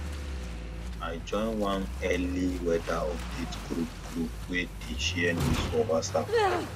i join one early weather update group group wey dey share news for whatsapp